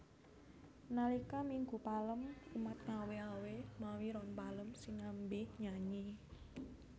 Nalika Minggu Palem umat ngawé awé mawi ron palem sinambi nyanyi